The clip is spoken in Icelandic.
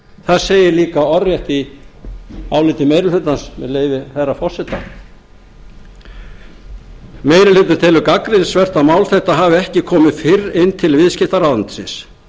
það segir líka orðrétt í áliti meiri hlutans með leyfi hæstvirts forseta meiri hlutinn telur gagnrýnisvert að mál þetta hafi ekki komið fyrr inn til viðskiptaráðuneytisins